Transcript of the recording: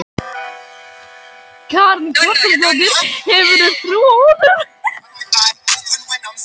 Karen Kjartansdóttir: Hefurðu trú á honum?